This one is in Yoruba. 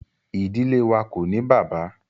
Ìdílé wá ko ní bàbá.